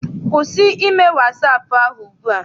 Kwụsị ime wasaapụ ahụ ugbua!